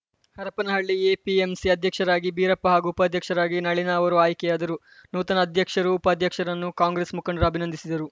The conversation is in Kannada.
ಹರಪನಹಳ್ಳಿ ಎಪಿಎಂಸಿ ಅಧ್ಯಕ್ಷರಾಗಿ ಭೀರಪ್ಪ ಹಾಗೂ ಉಪಾಧ್ಯಕ್ಷರಾಗಿ ನಳೀನಾ ಅವರು ಆಯ್ಕೆಯಾದರು ನೂತನ ಅಧ್ಯಕ್ಷರು ಉಪಾಧ್ಯಕ್ಷರನ್ನು ಕಾಂಗ್ರೆಸ್‌ ಮುಖಂಡರು ಅಭಿನಂದಿಸಿದರು